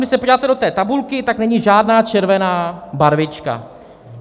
Když se podíváte do té tabulky, tak není žádná červená barvička.